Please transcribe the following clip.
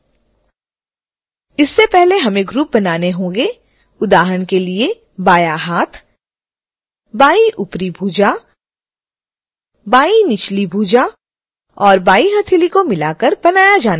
इससे पहले हमें ग्रुप बनाने होंगें उदाहरण के लिए बायाँ हाथ बाईं ऊपरी भुजा बाईं निचली भुजा और बाईं हथेली को मिलाकर बनाया जाना चाहिए